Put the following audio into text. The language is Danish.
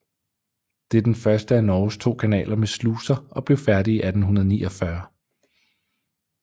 Det er den første af Norges to kanaler med sluser og blev færdig i 1849